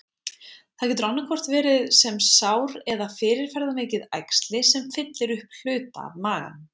Það getur annaðhvort verið sem sár eða fyrirferðarmikið æxli, sem fyllir upp hluta af maganum.